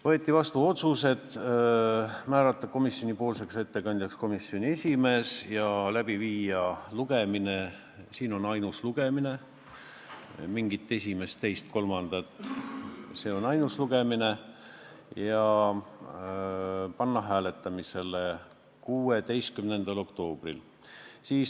Võeti vastu otsused: määrata komisjonipoolseks ettekandjaks komisjoni esimees ja teha ettepanek lugemine läbi viia – siin ongi ainult üks lugemine, mingit esimest, teist ja kolmandat pole, see on ainus lugemine – ja eelnõu hääletamisele panna 16. oktoobril.